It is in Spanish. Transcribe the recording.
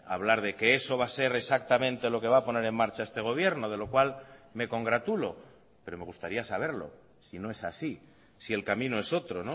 hablar de que eso va a ser exactamente lo que va a poner en marcha este gobierno de lo cual me congratulo pero me gustaría saberlo si no es así si el camino es otro